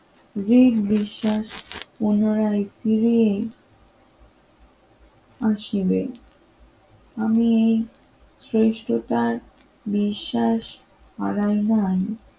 জীব বিশ্বাস পুনরায় ফিরে আসিবে আমি এই শ্রেষ্ঠ তার বিশ্বাস হারাই নাই